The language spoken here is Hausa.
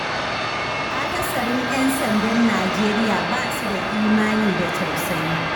Akasarin 'yan sandan Nijeriya ba su da imani da tausayi.